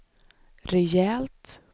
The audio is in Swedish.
rejält